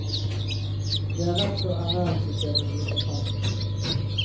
Det er rett før ernæringssystemet bryter sammen.